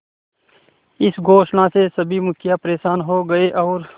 इस घोषणा से सभी मुखिया परेशान हो गए और